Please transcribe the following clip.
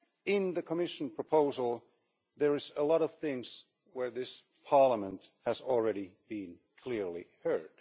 In the Commission proposal there are a lot of things where this Parliament has already been clearly heard.